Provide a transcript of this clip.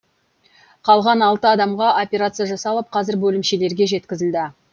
қалған алты адамға операция жасалып қазір бөлімшелерге жеткізілді